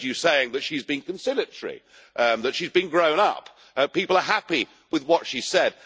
I have heard you saying that she is being conciliatory, that she is being grown up, that people are happy with what she said.